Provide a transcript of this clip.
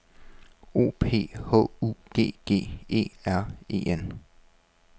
O P H U G G E R E N